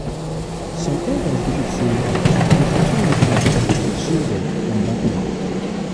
some elders believe sey protection rituals fit shield dem from bad luck.